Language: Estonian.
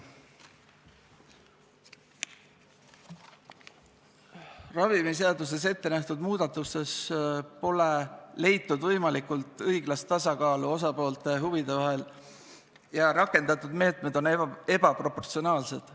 Ravimiseaduses ette nähtud muudatuste puhul pole leitud võimalikult õiglast tasakaalu osapoolte huvide vahel ja rakendatud meetmed on ebaproportsionaalsed.